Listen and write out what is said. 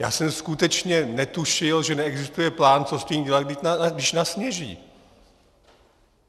Já jsem skutečně netušil, že neexistuje plán, co s tím dělat, když nasněží.